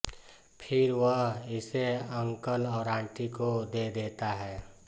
फिर वह इसे अंकल और आंटी को दे देता है